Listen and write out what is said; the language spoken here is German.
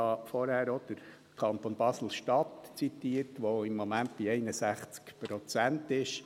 Ich habe vorher auch den Kanton Basel-Stadt zitiert, der im Moment bei 61 Prozent ist.